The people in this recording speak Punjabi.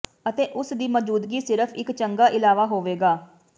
ਅਤੇ ਉਸ ਦੀ ਮੌਜੂਦਗੀ ਸਿਰਫ ਇੱਕ ਚੰਗਾ ਇਲਾਵਾ ਹੋਵੇਗਾ